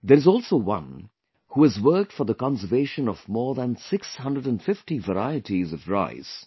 There is also one, who has worked for the conservation of more than 650 varieties of rice